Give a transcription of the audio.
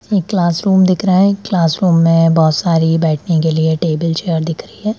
एक क्लासरूम में दिख रहा है क्लासरूम में बहुत सारी बैठने के लिए टेबल चेयर दिखरी है।